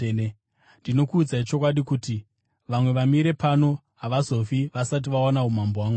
Ndinokuudzai chokwadi, kuti vamwe vamire pano havazofi vasati vaona umambo hwaMwari.”